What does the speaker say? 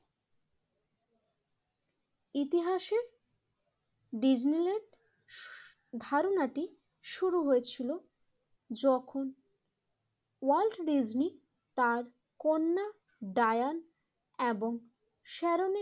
ইতিহাসের ডিজনিল্যান্ড ধারণাটি শুরু হয়েছিল। যখন ওয়ার্ল্ড ডেজনি তার কন্যা ডায়ান এবং সেরণের